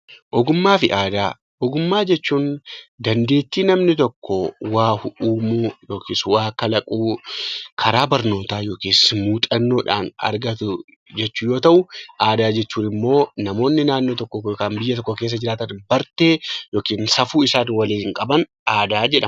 Ogummaa jechuun dandeettii namni tokko waa uumuu yookiin waa kalaquu karaa barnootaa yookaan muuxannoodhaan argatu jechuu yoo ta'u, aadaa jechuun immoo namoonni naannoo tokko keessa jiraatan bartee yookiin safuun isaan waliin qaban aadaa jedhama